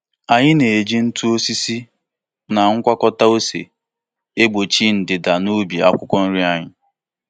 Anyị na-eji ntụ osisi na ngwakọta ose egbochi ndanda n'ubi akwụkwọ nri anyị.